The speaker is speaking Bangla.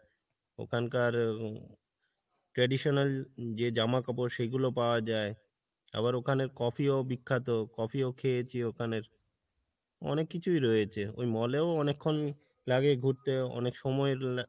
ওখানকার traditional জামাকাপড় সেগুলো পাওয়া যাই, আবার ওখানে coffee ও বিখ্যাত coffee ও খেয়েছি ওখানের অনেক কিছুই রয়েছে ওই mall এও অনেকক্ষণ লাগে ঘুরতে অনেক সময় লা